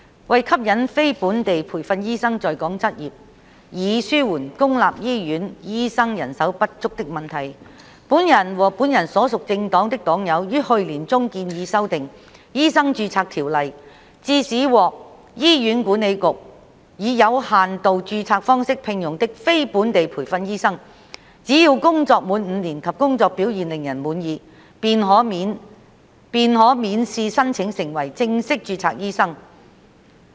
為吸引非本地培訓醫生在港執業，以紓緩公立醫院醫生人手不足的問題，本人和本人所屬政黨的黨友於去年中建議修訂《醫生註冊條例》，致使獲醫院管理局以有限度註冊方式聘用的非本地培訓醫生，只要工作滿5年及工作表現令人滿意，便可免試申請成為正式註冊醫生。